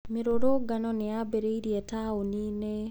Mĩrũrũngano nĩ yambĩrĩirie taũni-inĩ.